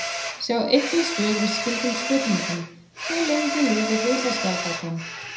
Sjá einnig svör við skyldum spurningum: Hve lengi lifir risaskjaldbakan?